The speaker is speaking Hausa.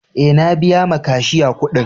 E, na biya ma kashiya kuɗin.